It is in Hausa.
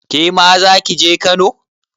Kema zaki je Kano?